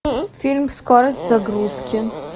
фильм скорость загрузки